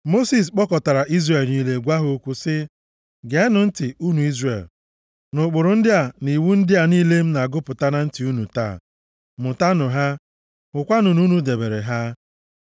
Mosis kpọkọtara Izrel niile gwa ha okwu sị, Geenụ ntị, unu Izrel, nʼụkpụrụ ndị a na iwu ndị a niile m na-agụpụta na ntị unu taa, mụtanụ ha, hụkwanụ na unu debere ha!